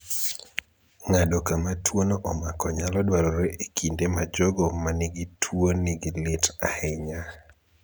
Ng'ado kama tuo no omako nyalo dwarore e kinde ma jogo manigi tuo nigi lit ahinya